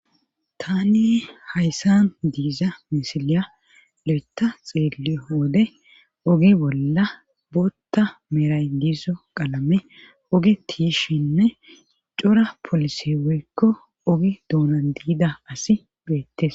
Tani hayssan diiza misilya leeta xeelio wode ogi bolla bootta meray giizo qalame ogi tiishinne cora polise woykko ogi duunan diida asi beettes.